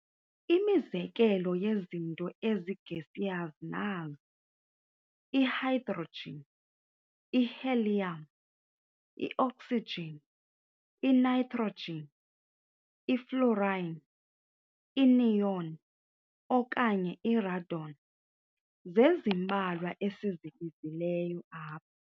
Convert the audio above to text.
Imizekelo yezinto ezi-gaseous nazi- i-hydrogen, i-helium, i-oxygen, i-nitrogen, i-fluorine, i-neon, okanye i-radon, zezimbalwa esizibizileyo apha.